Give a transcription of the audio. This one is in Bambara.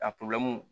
A